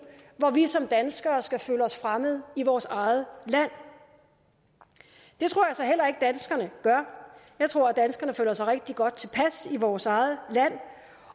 hvor vi som danskere skal føle os fremmede i vores eget land det tror jeg så heller ikke at danskerne gør jeg tror danskerne føler sig rigtig godt tilpas i vores eget land